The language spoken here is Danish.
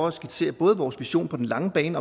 at skitsere både vores vision på den lange bane